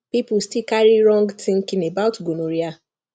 people still carry wrong thinking about gonorrhea